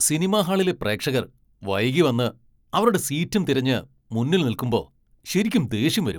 Cinema ഹാളിലെ പ്രേക്ഷകർ വൈകി വന്ന് അവരുടെ സീറ്റും തിരഞ്ഞ് മുന്നിൽ നിൽക്കുമ്പോ ശരിക്കും ദേഷ്യം വരും.